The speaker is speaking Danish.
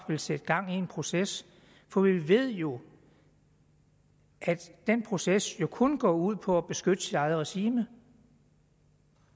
sat gang i en proces for vi ved jo at den proces kun går ud på at beskytte regimet